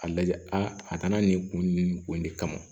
A lajɛ a kana nin kun in de kama